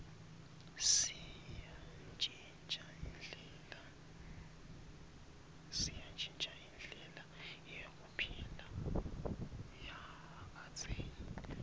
seyantjintja indlela yekuphila yakadzeni